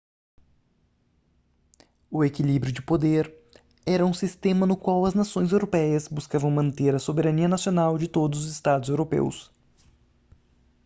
o equilíbrio de poder era um sistema no qual as nações europeias buscavam manter a soberania nacional de todos os estados europeus